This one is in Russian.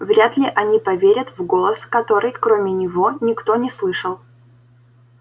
вряд ли они поверят в голос который кроме него никто не слышал